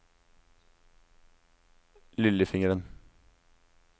lillefingeren